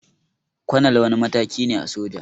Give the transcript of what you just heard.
Kwanal wani mataki ne a soja